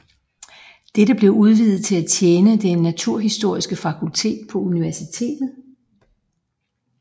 Dette blev udvidet til for at tjene det naturhistoriske fakultet på universitet